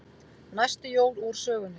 Næstu jól úr sögunni.